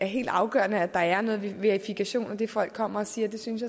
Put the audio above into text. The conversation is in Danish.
helt afgørende at der er noget verifikation af det folk kommer og siger jeg synes